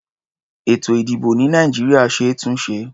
Ètò-ìdìbò ní Nàìjíríà ṣe é túnṣe.